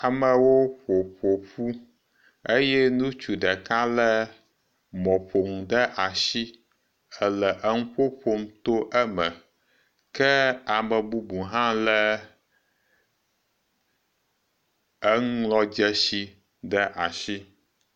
Ameawo ƒo ƒoƒu eye ŋutsu ɖeka le mɔƒonu ɖe asi hele eŋuƒo ƒom to eme ke ame bubu hã le enuŋlɔdzesi ɖe asi.